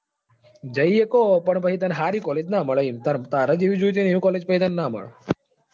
જઈ શકો પણ પછી તને સારી college નાં મળે એમ તારે જેવી જોઈએ એવી college નાં મળે.